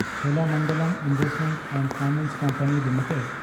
Cholamandalam investment and finance company limited